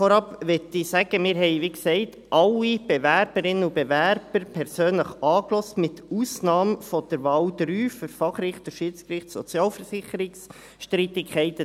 Vorab möchte ich sagen: Wir haben, wie gesagt, alle Bewerberinnen und Bewerber persönlich angehört, mit Ausnahme von Wahl 3 für Fachrichter Schiedsgericht in Sozialversicherungsstreitigkeiten.